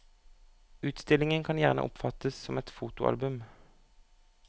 Utstillingen kan gjerne oppfattes som et fotoalbum.